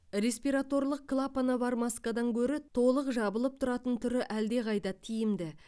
респираторлық клапаны бар маскадан гөрі толық жабылып тұратын түрі әлдеқайда тиімді